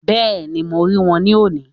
Bẹ́ẹ̀ni ,mo rí wọn ní òní